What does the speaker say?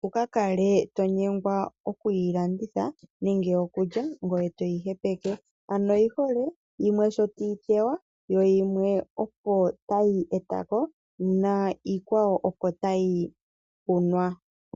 wu ka kale to nyengwa okuyi landitha nenge okulya ngoye to yi hepitha. Oyi hole yimwe sho tayi teywa yimwe opo tayi eta ko niikwawo opo tayi kunwa.